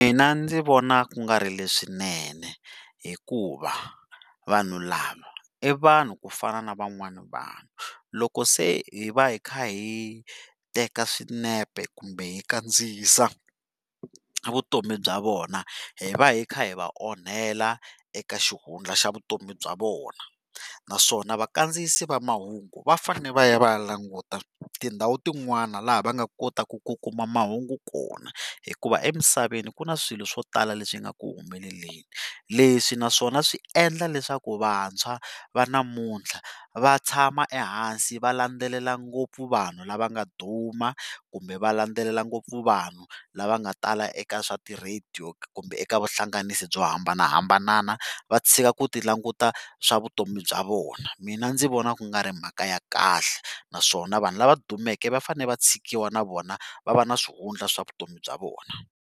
Mina ndzi vona ku nga ri leswinene, hikuva vanhu lava i vanhu ku fana na van'wani vanhu, loko se hi va hi kha hi teka swinepe kumbe hi kandziyisa vutomi bya vona hi va hi kha hi va onhela eka xihundla xa vutomi bya vona, naswona vakandziyisi va mahungu va fane va ya va ya languta tindhawu tin'wani laha va nga kotaku ku kuma mahungu kona hikuva emisaveni ku na swilo swo tala leswi nga ku humeleleni, leswi naswona swi endlaka leswaku vantshwa va namuntlha va tshama ehansi va landzelela ngopfu vanhu lava nga duma kumbe va landzelela ngopfu vanhu lava nga tala eka swa ti-radio kumbe eka vuhlanganisi byo hambanahambana va tshika ku ti languta swa vutomi bya vona, mina ndzi vona ku nga ri mhaka ya kahle naswona vanhu lava dumeke va fane va tshikiwa na vona va va na swihundla swa vutomi bya vona.